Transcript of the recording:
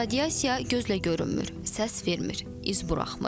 Radiasiya gözlə görünmür, səs vermir, iz buraxmır.